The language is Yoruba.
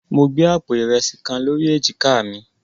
Mo gbé àpò ìrẹsì kan lórí èjìká mi.